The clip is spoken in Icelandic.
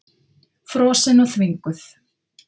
Frosin og þvinguð.